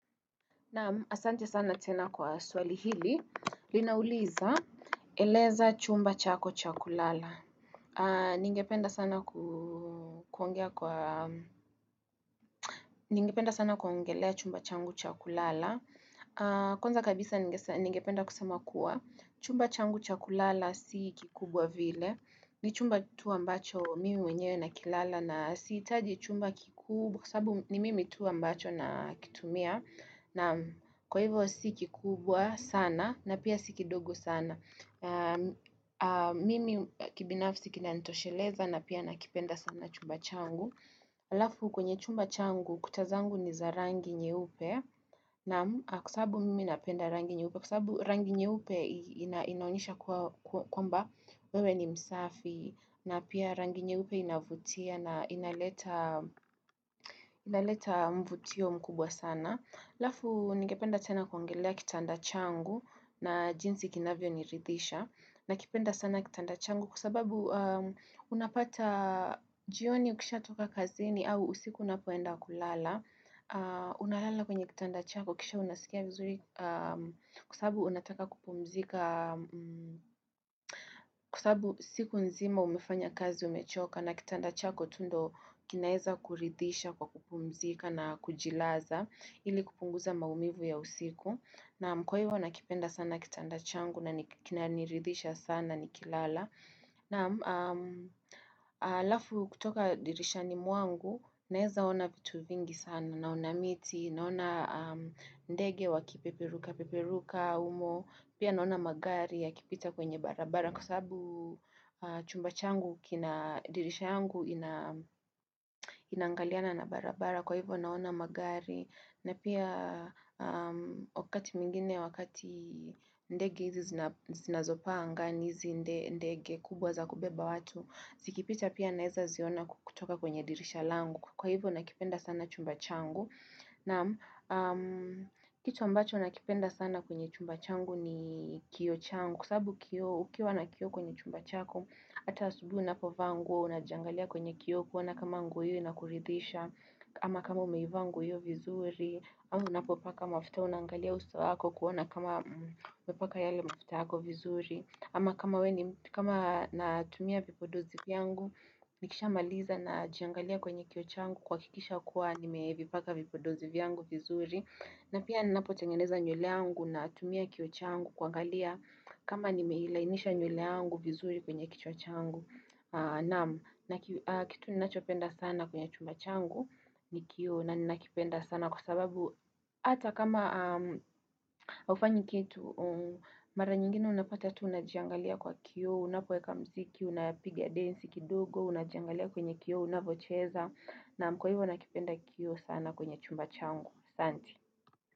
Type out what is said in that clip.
Naam asante sana tena kwa swali hili, linauliza eleza chumba chako cha kulala. Ningependa sana kuongelea chumba changu cha kulala. Kwanza kabisa ningependa kusema kuwa, chumba changu cha kulala si kikubwa vile. Ni chumba tu ambacho mimi mwenyewe na kilala na siitaji chumba kikubwa. Kwa sababu ni mimi tu ambacho nakitumia naam kwa hivyo si kikubwa sana na pia si kidogo sana. Mimi kibinafsi kinanitosheleza na pia nakipenda sana chumba changu. Alafu kwenye chumba changu kuta zangu ni za rangi nyeupe naam kwa sababu mimi napenda rangi nyeupe. Inaonyesha kwamba wewe ni msafi na pia rangi nyeupe inavutia na inaleta inaleta mvutio mkubwa sana alafu ningependa sana kuongelea kitanda changu na jinsi kinavyo niridisha nakipenda sana kitanda changu kwa sababu unapata jioni ukishatoka kazini au usiku unapoenda kulala unalala kwenye kitanda chako kisha unasikia vizuri kwa sababu unataka kupumzika kwa sababu siku nzima umefanya kazi umechoka na kitanda chako tu ndio kinaeza kuridhisha kwa kupumzika na kujilaza ili kupunguza maumivu ya usiku naam kwa hivo nakipenda sana kitanda changu na kinaniridhisha sana nikilala naam alafu kutoka dirishani mwangu naezaona vitu vingi sana naona miti naona ndege wakipeperuka, peperuka, humo pia naona magari yakipita kwenye barabara kwa sababu chumba changu kina dirisha yangu inangaliana na barabara kwa hivyo naona magari na pia wakati mwingine wakati ndege izi zinazo paa angani izi ndege kubwa za kubeba watu zikipita pia naeza ziona kutoka kwenye dirisha langu kwa hivyo nakipenda sana chumba changu Naam kitu ambacho nakipenda sana kwenye chumba changu ni kioo changu Kwa sababu kioo, ukiwa na kioo kwenye chumba chako Ata asubuhi unapo vaa nguo, unajiangalia kwenye kioo kuona kama nguo hiyo inakuridhisha ama kama umeivaa nguo hiyo vizuri ama unapopaka mafuta unangalia uso wako kuona kama umepaka yale mafuta yako vizuri ama kama natumia vipodozi vyangu Nikishamaliza najiangalia kwenye kioo changu kuhakikisha kuwa nimeevipaka vipodozi vyangu vizuri na pia napotengeneza nyule yangu natumia kioo changu kuangalia kama nimeilainisha nyule yangu vizuri kwenye kichwa changu naam kitu ninachopenda sana kwenye chumba changu ni kioo na ninakipenda sana kwa sababu ata kama hufanyi kitu mara nyingine unapata tu unajiangalia kwa kioo unapoeka mziki unapigia densi kidogo unajiangalia kwenye kioo unavocheza Naam kwa hivyo nakipenda kioo sana kwenye chumba changu Santi.